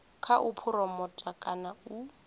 kha u phuromotha kana u